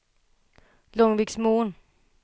Långviksmon